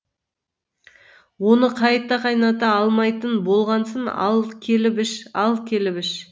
оны қайта қайната алмайтын болғансын ал келіп іш ал келіп іш